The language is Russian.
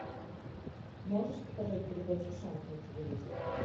можешь показать передачу шант на телевизоре